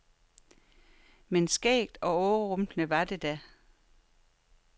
Men skægt og overrumplende var det da.